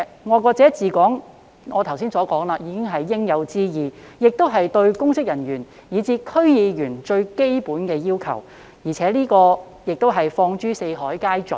我剛才已指出，"愛國者治港"是應有之義，也是對公職人員以至區議員最基本的要求，放諸四海皆準。